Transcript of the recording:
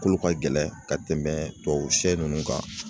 Kolo ka gɛlɛn ka tɛmɛ tubabu sɛ ninnu kan